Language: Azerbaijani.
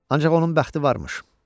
Ancaq onun bəxti varmış.